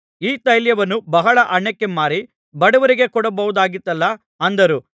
ಈ ತೈಲವನ್ನು ಬಹಳ ಹಣಕ್ಕೆ ಮಾರಿ ಬಡವರಿಗೆ ಕೊಡಬಹುದಾಗಿತ್ತಲ್ಲಾ ಅಂದರು